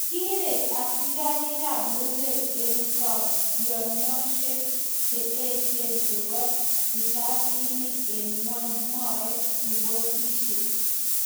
Kireg Asikarikab luget en kabkyinoshek che echen chebo risasinik en ngweny, mwae ripotishek.